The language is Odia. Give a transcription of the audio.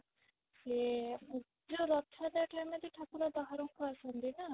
ସେ ରଥଯାତ୍ରା ରେ ବାହାରକୁ ଆସନ୍ତି ନା